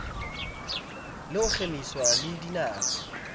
le ho kgemiswa le dinako